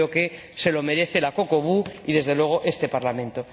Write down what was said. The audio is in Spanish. Yo creo que se lo merecen la COCOBU y, desde luego, este Parlamento.